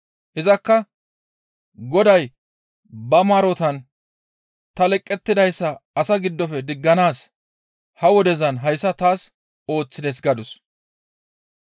Izakka, «Goday ba maarotan ta leqettidayssa asaa giddofe digganaas ha wodezan hayssa taas ooththides» gadus.